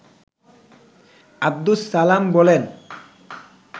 আব্দুস সালাম বলেন